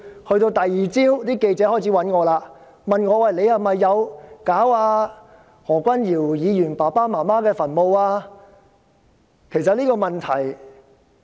到了第二天，記者開始聯絡我，問我有否命人破壞何君堯議員父母的墳墓？